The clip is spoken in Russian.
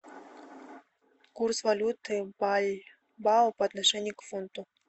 курс валюты бальбао по отношению к фунту